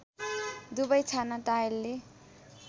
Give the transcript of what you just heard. दुबै छाना टायलले